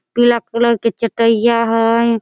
पीला कलर के चट्टैया हई।